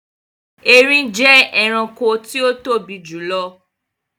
Ẹrìn jẹ ẹ̀ràṇkò tí o tobi jùlọ̀.